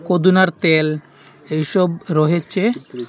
পুদিনার তেল এইসব রহেচে ।